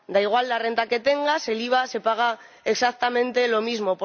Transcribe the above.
Da igual la renta que tengas, el IVA se paga exactamente lo mismo.